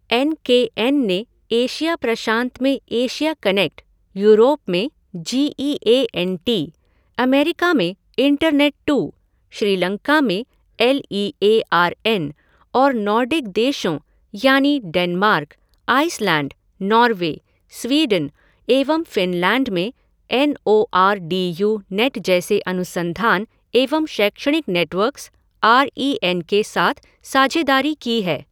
N K N ने Asia प्रशांत में एशिया कनेक्ट, यूरोप में G E A N T, America में इंटरनेट टू, श्रीलंका में L E A R N और नॉर्डिक देशों यानी डेनमार्क, आइसलैंड, नॉर्वे, स्वीडन एवं फ़िनलैंड में N O R D U net जैसे अनुसंधान एवं शैक्षणिक नेटवर्क्स आर ई एन के साथ साझेदारी की है।